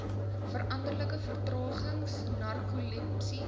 verstandelike vertraging narkolepsie